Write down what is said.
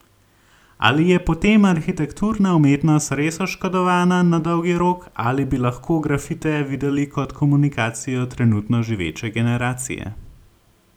Ali je potem arhitekturna umetnost res oškodovana na dolgi rok, ali bi lahko grafite videli kot komunikacijo trenutno živeče generacije?